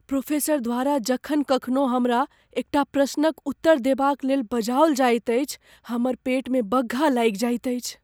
Professor द्वारा जखन कखनो हमरा एकटा प्रश्नक उत्तर देबाक लेल बजाओल जाइत अछि हमर पेटमे बग्घा लागि जाइत अछि।